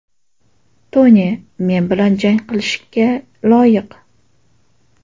Toni men bilan jang qilishga loyiq.